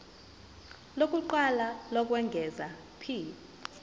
lokuqala lokwengeza p